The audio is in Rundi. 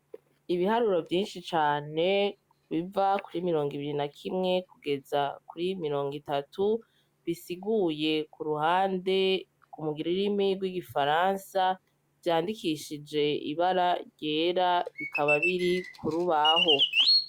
Ibiharuro vyinshi cane biva kuri mirongo ibiri na kimwe kugeza kuri mirongo itatu bisiguye ku ruhande mu rurimi rw'igifaransa vyandikishije ibara ryera bikaba biri ku rubaho.